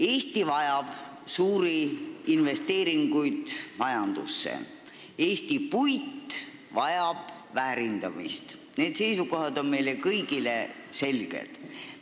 Eesti vajab suuri investeeringuid majandusse, Eesti puit vajab väärindamist – need seisukohad on meile kõigile selged.